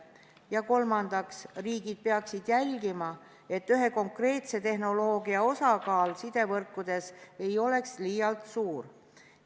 Ja kolmandaks, riigid peaksid jälgima, et ühe konkreetse tehnoloogia osakaal sidevõrkudes ei oleks liialt suur.